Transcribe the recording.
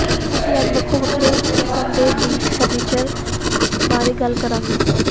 ਅਸੀਂ ਅੱਜ ਵੱਖੋ ਵੱਖਰੇ ਕਿਸਮ ਦੇ ਬੀਚ ਫਰਨੀਚਰ ਬਾਰੇ ਗੱਲ ਕਰਾਂਗੇ